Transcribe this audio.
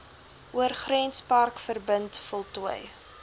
oorgrenspark verbind voltooi